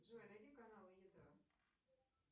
джой найди каналы еда